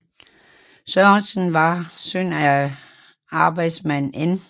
Sørensen var søn af arbejdsmand N